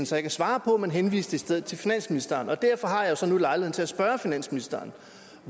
så ikke at svare på men henviste i stedet til finansministeren derfor har jeg jo så nu lejligheden til at spørge finansministeren